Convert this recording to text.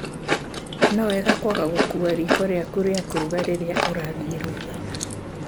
No wega kwaga gũkua riko rĩaku rĩa kũruga rĩrĩa ũrathĩĩ rũtha.